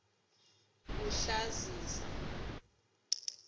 kuhlazisa